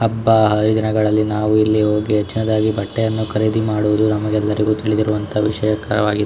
ಹಬ್ಬ ಹರಿದಿನಗಳಲ್ಲಿ ನಾವು ಇಲ್ಲಿ ಹೋಗಿ ಹೆಚ್ಚಿನದಾದಾಗಿ ಬಟ್ಟೆಯನ್ನು ಖರೀದಿ ಮಾಡುವುದು ನಮಗೆಲ್ಲ ತಿಳಿದಿರುವಂತಹ ವಿಷಯಕರವಾಗಿದೆ.